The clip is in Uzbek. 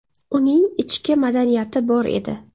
Uning ichki madaniyati bor edi.